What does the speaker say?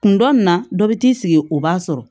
Kun dɔ nin na dɔ bi t'i sigi o b'a sɔrɔ